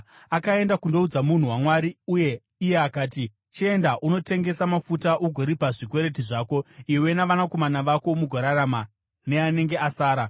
Akaenda kundoudza munhu waMwari uye iye akati, “Chienda unotengesa mafuta ugoripa zvikwereti zvako, iwe navanakomana vako mugorarama neanenge asara.”